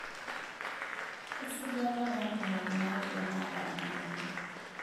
esajata oontomoni nauodo naata ena moyian